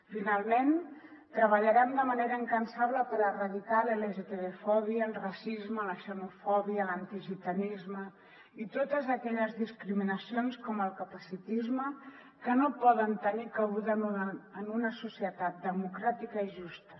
finalment treballarem de manera incansable per erradicar la lgtbifòbia el racisme la xenofòbia l’antigitanisme i totes aquelles discriminacions com el capacitisme que no poden tenir cabuda en una societat democràtica i justa